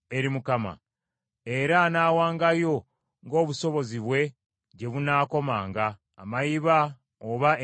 Era anaawangayo, ng’obusobozi bwe gye bunaakomanga, amayiba oba enjiibwa ento,